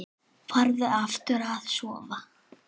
Farðu aftur að sofa.